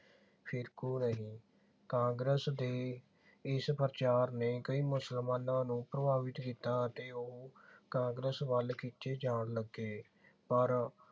ਫਿਰਕੂ ਨਹੀਂ। ਕਾਂਗਰਸ ਦੇ ਇਸ ਪ੍ਰਚਾਰ ਨੇ ਕਈ ਮੁਸਲਮਾਨਾਂ ਨੂੰ ਪ੍ਰਭਾਵਿਤ ਕੀਤਾ ਅਤੇ ਉਹ ਕਾਂਗਰਸ ਵੱਲ ਖਿੱਚੇ ਜਾਣ ਲੱਗੇ। ਪਰ